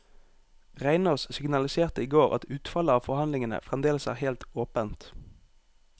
Reinås signaliserte i går at utfallet av forhandlingene fremdeles er helt åpent.